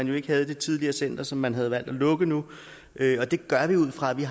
jo ikke havde i det tidligere center som man har valgt at lukke nu det gør vi ud fra at vi